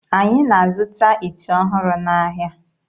Anyị na-azụta ite ọhụrụ n'ahịa.